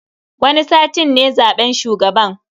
Wani satin ne zaben shugaban.